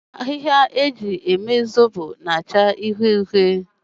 Ahịhịa eji eme Zobo na-achọ uhie uhie.